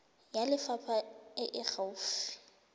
ya lefapha e e gaufi